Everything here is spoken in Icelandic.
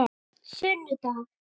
sunnudag